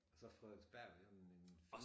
Og så Frederiksberg det jo i den fine